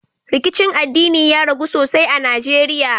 Rikicin addinin ya ragu sosai a najeriya